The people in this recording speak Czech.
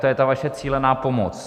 To je ta vaše cílená pomoc.